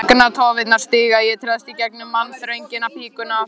Augnatóftirnar síga, ég treðst í gegnum mannþröngina, hrópa